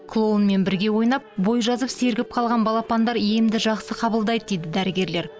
клоунмен бірге ойнап бой жазып сергіп қалған балапандар емді жақсы қабылдайды дейді дәрігерлер